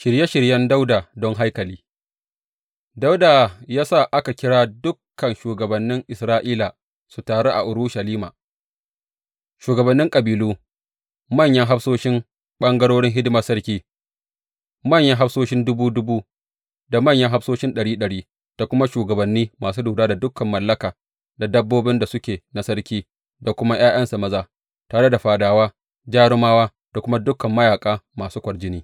Shirye shiryen Dawuda don haikali Dawuda ya sa aka kira dukan shugabannin Isra’ila su taru a Urushalima, shugabannin kabilu, manyan hafsoshin ɓangarorin hidimar sarki, manyan hafsoshin dubu dubu da manyan hafsoshin ɗari ɗari, da kuma shugabanni masu lura da dukan mallaka da dabbobin da suke na sarki da kuma ’ya’yansa maza, tare da fadawa, jarumawa da kuma dukan mayaƙa masu kwarjini.